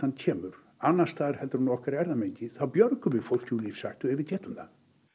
kemur annars staðar en úr okkar erfðamengi þá björgum við fólki úr lífshættu ef við getum það